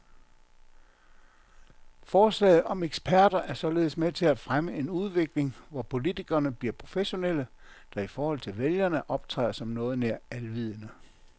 Forslaget om eksperter er således med til at fremme en udvikling, hvor politikerne bliver professionelle, der i forhold til vælgerne optræder som noget nær alvidende.